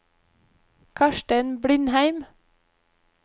Karstein Blindheim